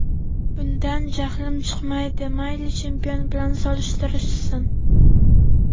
Bundan jahlim chiqmaydi, mayli chempion bilan solishtirishsin.